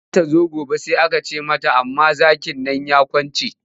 Za ta zo gobe amma sai aka ce mata zakin nan ya kwance.